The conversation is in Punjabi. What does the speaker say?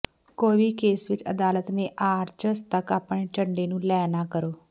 ਕੋਈ ਵੀ ਕੇਸ ਵਿੱਚ ਅਦਾਲਤ ਨੇ ਆਰਚਸ ਤੱਕ ਆਪਣੇ ਚੱਡੇ ਨੂੰ ਲੈ ਨਾ ਕਰੋ